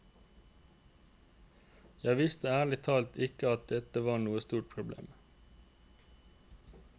Jeg visste ærlig talt ikke at dette var noe stort problem.